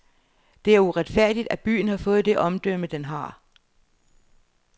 Det er uretfærdigt, at byen har fået det omdømme, den har.